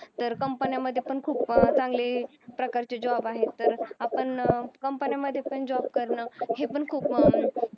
तर company मध्ये पण खूप अं चांगले प्रकारचे job आहेत तर आपण company मध्ये पण job करणे हे पण खूप